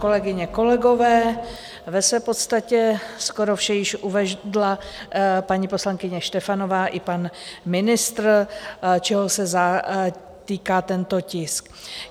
Kolegyně, kolegové, ve své podstatě skoro vše již uvedla paní poslankyně Štefanová i pan ministr, čeho se týká tento tisk.